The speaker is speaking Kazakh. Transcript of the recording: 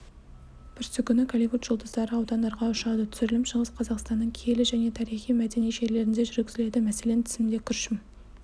бүрсігүні голливуд жұлдыздары аудандарға ұшады түсірілім шығыс қазақстанның киелі және тарихи-мәдени жерлерінде жүргізіледі мәселен тізімде күршім